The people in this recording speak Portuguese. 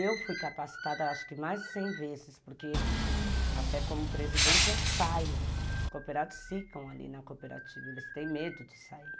Eu fui capacitada acho que mais de cem vezes, porque até como presidente eu saio, os cooperados ficam ali na cooperativa, eles têm medo de sair.